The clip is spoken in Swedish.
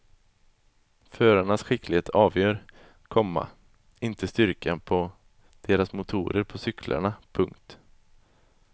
Förarnas skicklighet avgör, komma inte styrkan på deras motorer på cyklarna. punkt